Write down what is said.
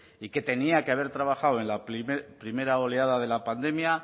y que tenía que haber trabajado en la primera oleada de la pandemia